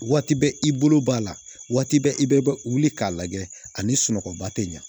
Waati bɛ i bolo b'a la waati bɛ i bɛ wuli k'a lajɛ ani sunɔgɔba tɛ ɲa